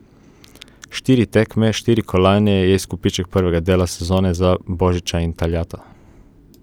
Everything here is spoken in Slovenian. Štiri tekme, štiri kolajne je izkupiček prvega dela sezone za Božiča in Taljata.